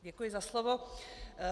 Děkuji za slovo.